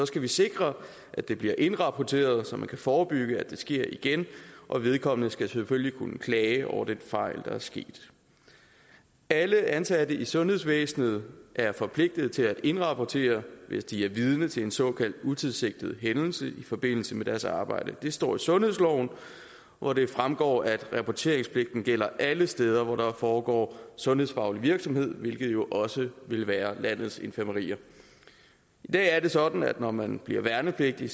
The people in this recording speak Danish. skal vi sikre at det bliver indrapporteret så vi kan forebygge at det sker igen og vedkommende skal selvfølgelig kunne klage over den fejl der er sket alle ansatte i sundhedsvæsenet er forpligtet til at indrapportere det hvis de er vidne til en såkaldt utilsigtet hændelse i forbindelse med deres arbejde det står i sundhedsloven hvor det fremgår at rapporteringspligten gælder alle steder hvor der foregår sundhedsfaglig virksomhed hvilket jo også vil være på landets infirmerier i dag er det sådan at når man bliver værnepligtig